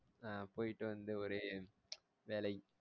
ஆஹ் போயிட்டு வந்து ஒரே வேலை